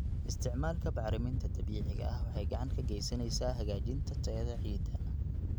Isticmaalka bacriminta dabiiciga ah waxay gacan ka geysaneysaa hagaajinta tayada ciidda.